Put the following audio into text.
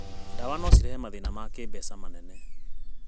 Ndawa no cikũrehere mathĩĩna ma kĩmbeca manene.